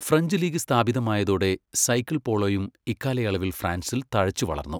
French league സ്ഥാപിതമായതോടെ cycle പോളോയും ഇക്കാലയളവിൽ ഫ്രാൻസിൽ തഴച്ചുവളർന്നു.